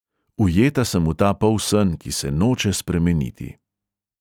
Ujeta sem v ta polsen, ki se noče spremeniti.